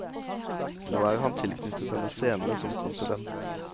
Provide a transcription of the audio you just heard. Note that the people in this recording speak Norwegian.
Nå er han tilknyttet denne scene som konsulent.